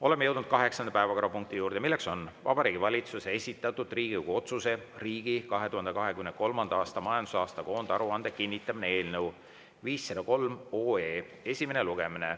Oleme jõudnud kaheksanda päevakorrapunkti juurde: Vabariigi Valitsuse esitatud Riigikogu otsuse "Riigi 2023. aasta majandusaasta koondaruande kinnitamine" eelnõu 503 esimene lugemine.